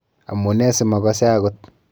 Amunee simakase akot?